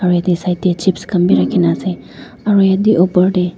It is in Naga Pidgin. aro yatae side tae chips khan bi rakhina ase aro yatae uper tae.